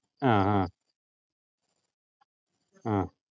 ആഹ് ആഹ് ആഹ്